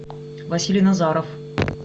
василий назаров